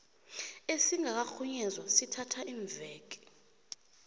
esingakarhunyezwa sithatha iimveke